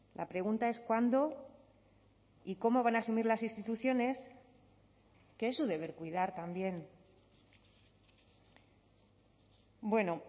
la pregunta es cuándo y cómo van a asumir las instituciones que es su deber cuidar también bueno